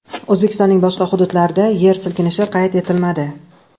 O‘zbekistonning boshqa hududlarida yer silkinishi qayd etilmadi.